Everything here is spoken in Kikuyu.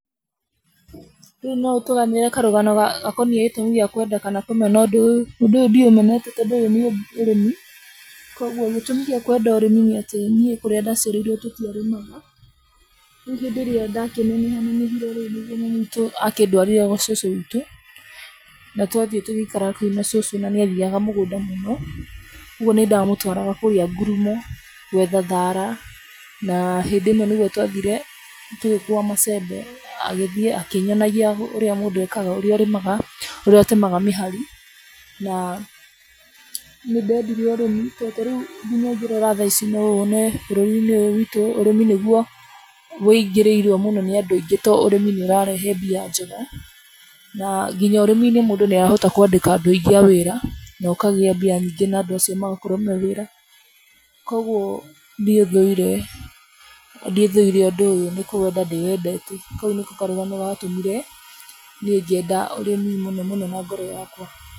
Rĩu no ũtũganĩre karũgano gakoniĩ gĩtũmi gĩa kwenda kana kũmena ũndũ ũyũ? Ũndũ ũyũ ndiũmenete tondũ ũyũ nĩ ũrĩmi. Kwoguo gĩtũmi gĩa kwenda ũrĩmi nĩ atĩ niĩ kũrĩa ndaciarĩirwo tũtiarĩmaga. Rĩu hĩndĩ ĩrĩa ndakĩneneha nenehire rĩ, nĩguo mami witũ akĩndwarire gwa cũcũ wĩtũ, na twathiĩ tũgĩikara na kũu cũcũ na nĩ athiaga mũgũnda mũno. Kwoguo, nĩ ndamũtwaraga kũrĩa ngurumo gwetha thaara, na hĩndĩ ĩmwe nĩguo twathire, na tũgĩkua macembe agĩthiĩ akĩnyonagia ũrĩa mũndũ ekaga, ũrĩa ũrĩmaga, ũrĩa ũtemaga mĩhari na nĩ ndeendire ũrĩmi. To ta rĩu nginya ũngĩrora tha ici no wone bũrũri-inĩ ũyũ witũ, ũrĩmĩ nĩguo wũingĩrĩirwo mũno nĩ andũ aingĩ to ũrĩmi nĩ ũrarehe mbia njega. Na nginya ũrĩmi-inĩ mũndũ nĩ ahota kũandĩka andũ aingĩ a wĩra na ũkagĩa mbia nyingĩ, na andu acio magakorwo me wĩra. Kwoguo niĩ thũire, ndithũire ũndũ ũyũ, nĩ kũwenda ndĩwendete. Kau nĩko karũgano ga tũmire niĩ ngĩenda ũrĩmi mũno mũno na ngoro yakwa.